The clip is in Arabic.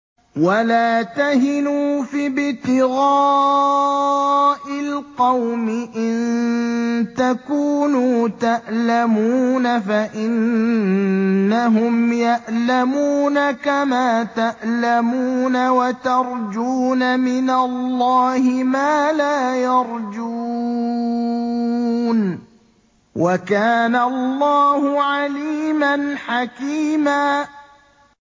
وَلَا تَهِنُوا فِي ابْتِغَاءِ الْقَوْمِ ۖ إِن تَكُونُوا تَأْلَمُونَ فَإِنَّهُمْ يَأْلَمُونَ كَمَا تَأْلَمُونَ ۖ وَتَرْجُونَ مِنَ اللَّهِ مَا لَا يَرْجُونَ ۗ وَكَانَ اللَّهُ عَلِيمًا حَكِيمًا